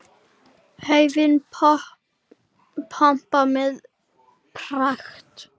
Laufin pompa með pragt.